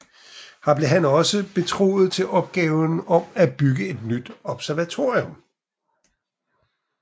Her blev han også betroet til opgaven om at bygge et nyt observatorium